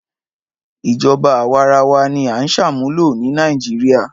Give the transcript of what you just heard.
Ìjọba àwarawa ni a ń ṣàmúlò ni Nàìjíríà.